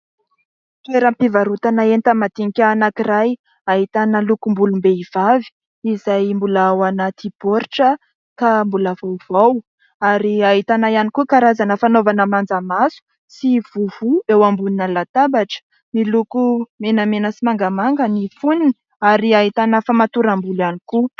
Toeram-pivarotana enta-madinika iray ahitana lokom-bolom-behivavy izay mbola ao anaty baoritra ka mbola vaovao ary ahitana ihany koa karazana fanaovana manja maso sy vovo eo ambonina latabatra. Miloko menamena sy mangamanga ny fonony ary ahitana famatoram-bolo ihany koa.